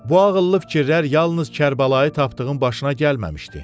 Bu ağıllı fikirlər yalnız Kərbəlayı Tapdığın başına gəlməmişdi.